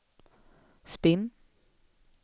spinn